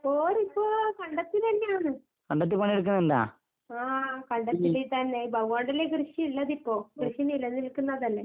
ഓരിപ്പോ കണ്ടത്തിലെന്നെയാണ്. ആഹ് കണ്ടത്തില് തന്നെ. ഇപ്പ അതുകൊണ്ടല്ലേ കൃഷി ഇള്ളതിപ്പോ കൃഷി നിലനിൽക്കുന്നതല്ലേ?